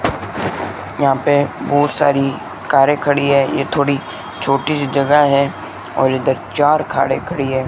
यहां पे बहुत सारी कारें खड़ी हैं यह थोड़ी छोटी जगह है और इधर चार कारें खड़ी है।